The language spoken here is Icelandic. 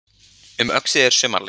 Um Öxi er sumarleið